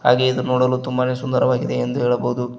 ಹಾಗೆ ಇದು ನೋಡಲು ತುಂಬಾನೇ ಸುಂದರವಾಗಿದೆ ಎಂದು ಹೇಳಬಹುದು.